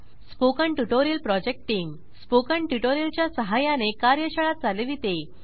spoken tutorial project team spoken tutorial च्या सहाय्याने कार्यशाळा चालविते